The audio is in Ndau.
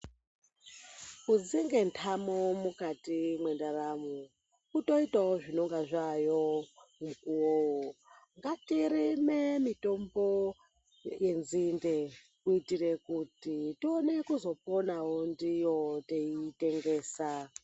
Kudzinge ntamo mukati mwendaramo ,kutoitawo zvinenge zvaayo mukuwowo. Ngatirime mitombo yenzinde kuitire kuti, tione kuzoponawo ndiyo teitengesa.